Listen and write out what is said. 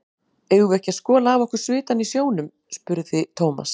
Eigum við ekki að skola af okkur svitann í sjónum? spurði Thomas.